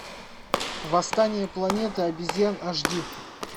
восстание планеты обезьян аш ди